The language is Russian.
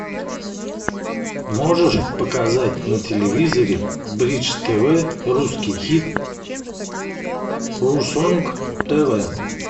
можешь показать на телевизоре бридж тв русский хит русонг тв